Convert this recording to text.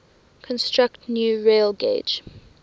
construct new railgauge